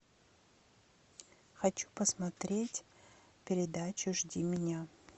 хочу посмотреть передачу жди меня